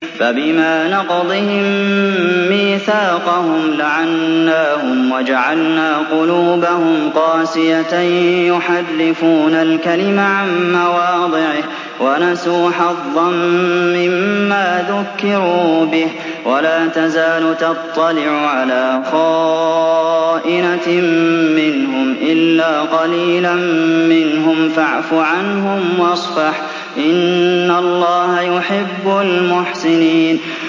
فَبِمَا نَقْضِهِم مِّيثَاقَهُمْ لَعَنَّاهُمْ وَجَعَلْنَا قُلُوبَهُمْ قَاسِيَةً ۖ يُحَرِّفُونَ الْكَلِمَ عَن مَّوَاضِعِهِ ۙ وَنَسُوا حَظًّا مِّمَّا ذُكِّرُوا بِهِ ۚ وَلَا تَزَالُ تَطَّلِعُ عَلَىٰ خَائِنَةٍ مِّنْهُمْ إِلَّا قَلِيلًا مِّنْهُمْ ۖ فَاعْفُ عَنْهُمْ وَاصْفَحْ ۚ إِنَّ اللَّهَ يُحِبُّ الْمُحْسِنِينَ